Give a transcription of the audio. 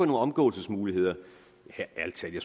nogle omgåelsesmuligheder